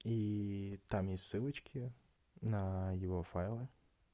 и там есть ссылочки на его файлы